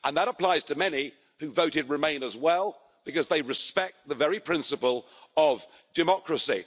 That applies to many who voted remain as well because they respect the very principle of democracy.